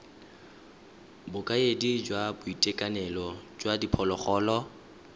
bokaedi jwa boitekanelo jwa diphologolo